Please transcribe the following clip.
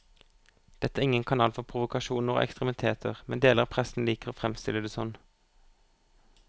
Dette er ingen kanal for provokasjoner og ekstremiteter, men deler av pressen liker å fremstille det sånn.